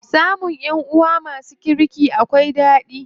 Samun ƴanʼuwa masu kirki akwai ɗadi.